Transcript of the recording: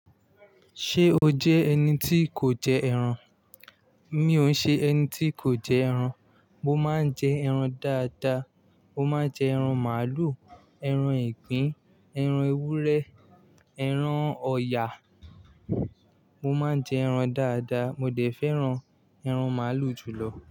Ṣé o jẹ́ ẹni tí kò jẹ ẹran? Mi ò ṣe ẹni tí kò jẹ ẹran. Mo máa ń jẹ ẹran dáadáa. Mo máa jẹ ẹran màálù, ẹran ìgbín, ẹran ewúrẹ́, ẹran ọ̀yà. Mo máa ń jẹ ẹran dáadáa. Mo dẹ̀ fẹ́ran ẹran màálù jùlọ.